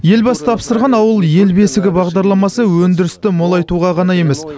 елбасы тапсырған ауыл ел бесігі бағдарламасы өндірісті молайтуға ғана емес